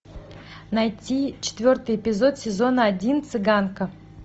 найти четвертый эпизод сезона один цыганка